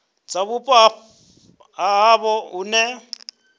dza vhupo ha havho hune